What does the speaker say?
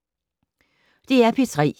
DR P3